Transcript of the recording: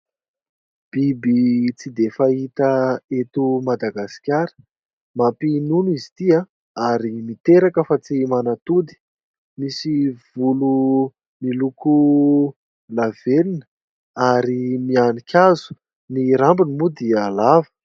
Biby tsy dia fahita eto Madagasikara, mampinono izy ity ary miteraka fa tsy manatody, misy volo miloko lavenona ary mihanika hazo, ny rambony moa dia lava.